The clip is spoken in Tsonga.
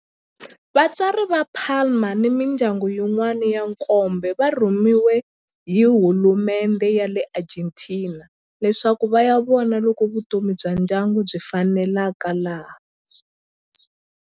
Vatswari va Palma ni mindyangu yin'wana ya nkombo va rhumeriwe hi hulumendhe ya le Argentina leswaku va ya vona loko vutomi bya ndyangu byi faneleka laha.